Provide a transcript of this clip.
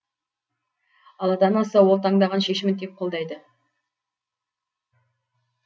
ал ата анасы ол таңдаған шешімін тек қолдайды